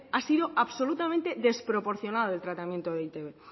ha sido absolutamente desproporcionado el tratamiento de e i te be